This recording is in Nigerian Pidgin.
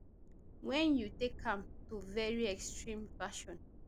wen you take am to very extreme version